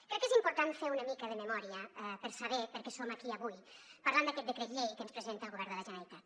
crec que és important fer una mica de memòria per saber per què som aquí avui parlant d’aquest decret llei que ens presenta el govern de la generalitat